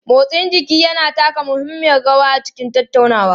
Motsin jiki yana taka muhimmiyar rawa a cikin tattaunawa.